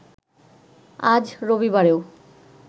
আজ রবিবারেও